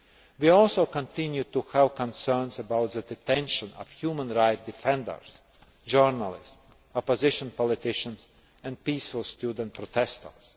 We also continue to have concerns about the detention of human rights defenders, journalists, opposition politicians and peaceful student protestors.